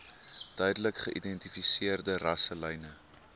duidelik geïdentifiseerde rasselyne